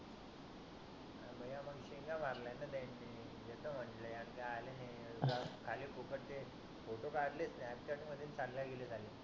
शेंडया मारल्यात न त्यांनी येतो मठल्या आल्या नाही खाली फुकट चे फोटो कडलेत स्नॅपचॅट मध्ये आणि चाले गेले साले